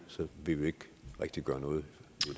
vil vi ikke rigtig gøre noget